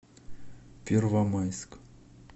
первомайск